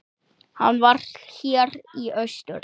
Hann var hér í austur.